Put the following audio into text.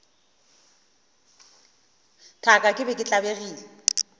thaka ke be ke tlabegile